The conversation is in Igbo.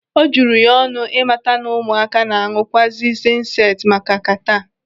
O juru ya ọnụ ịmata na ụmụaka na-aṅụ kwazi zenseti maka kataa.